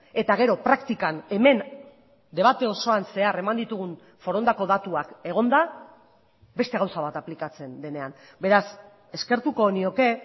eta gero praktikan hemen debate osoan zehar eman ditugun forondako datuak egonda beste gauza bat aplikatzen denean beraz eskertuko nioke